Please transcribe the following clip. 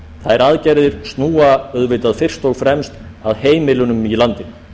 þær aðgerðir snúa auðvitað fyrst og fremst að heimilunum í landinu